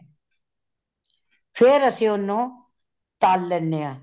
ਫੇਰ ਅਸੀ ਓਨੁ , ਤਾਲ ਲੈਂਦੇ ਹਾ।